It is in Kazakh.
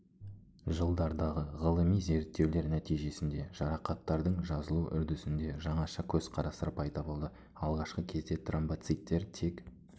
жылдардағы ғылыми зерттеулер нәтижесінде жарақаттардың жазылу үрдісінде жаңаша көзқарастар пайда болды алғашқы кезде тромбоциттер тек